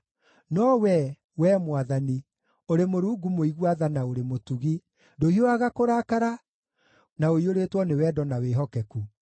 No Wee, Wee Mwathani, ũrĩ Mũrungu mũigua tha na ũrĩ mũtugi, ndũhiũhaga kũrakara, na ũiyũrĩtwo nĩ wendo na wĩhokeku.